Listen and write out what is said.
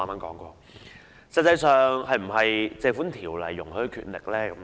這實際上是否《條例》容許的權力呢？